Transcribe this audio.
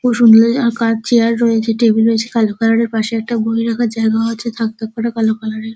আর কার চেয়ার রয়েছে টেবিল রয়েছে কালো কালার - এর পাশে একটা বই রাখার জায়গাও আছে থাক থাক করা কালো কালার - এর।